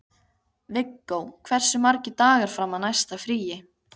Viggó, hversu margir dagar fram að næsta fríi?